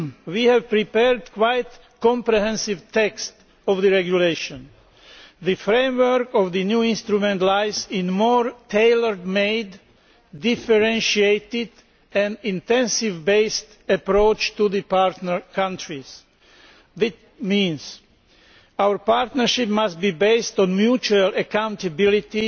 We have prepared quite comprehensive texts of the regulation. The framework of the new instrument lies in a more tailor made differentiated and intensive based approach to the partner countries, which means that our partnership must be based on mutual accountability